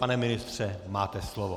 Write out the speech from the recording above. Pane ministře, máte slovo.